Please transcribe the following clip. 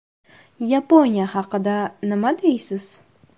Yaponiya haqida nima deysiz?